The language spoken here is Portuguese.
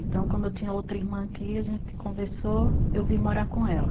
Então, como eu tinha outra irmã aqui, a gente conversou, eu vim morar com ela.